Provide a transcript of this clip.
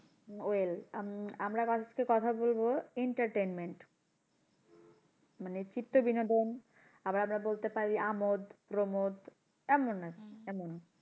Well um আমরা কথা বলবো entertainment মানে চিত্ত বিনোদন আবার আমরা বলতে পারি আমোদ প্রমোদ এমন আরকি এমন,